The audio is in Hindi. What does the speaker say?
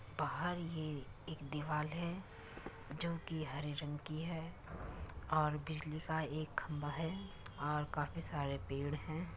बाहर ये एक दीवाल है। जो कि हरे रंग की है और बिजली का एक खंभा है और काफी सारे पेड़ है।